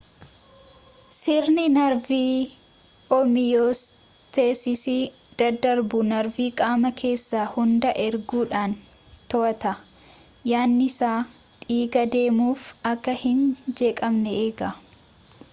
sirni narvii homiyoostesisii dadarbuu narvii qaama keessa hundaa erguudhaan to'ata yaa'iinsa dhigaa deemuu fi akka hin jeeqamne eega